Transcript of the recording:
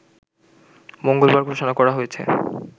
মঙ্গলবার ঘোষণা করা হয়েছে